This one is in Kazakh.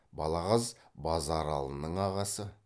балағаз базаралының ағасы